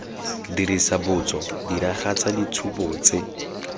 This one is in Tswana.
dirisa botso diragatsa ditshupo tse